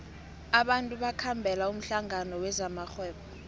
abantu bakhambela umhlangano wezamarhwebo